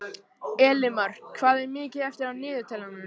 Elimar, hvað er mikið eftir af niðurteljaranum?